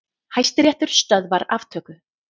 Hæstiréttur stöðvar aftöku